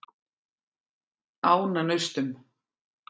Ánanaustum